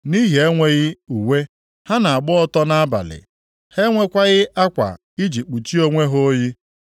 Nʼihi enweghị uwe, ha na-agba ọtọ nʼabalị, ha enwekwaghị akwa iji kpuchie onwe ha oyi.